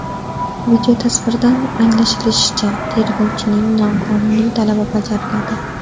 Videotasvirdan anglashilishicha, tergovchining noqonuniy talabi bajariladi.